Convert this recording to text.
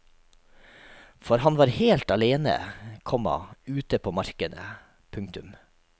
For han var helt alene, komma ute på markene. punktum